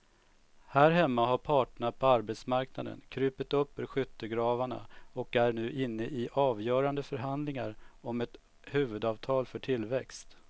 Här hemma har parterna på arbetsmarknaden krupit upp ur skyttegravarna och är nu inne i avgörande förhandlingar om ett huvudavtal för tillväxt.